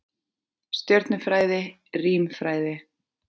Stjörnufræði, rímfræði.